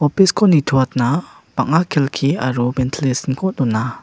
office-ko nitoatna bang·a kelki aro ventilation-ko dona.